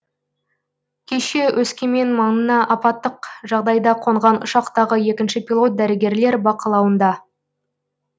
кеше өскемен маңына апаттық жағдайда қонған ұшақтағы екінші пилот дәрігерлер бақылауында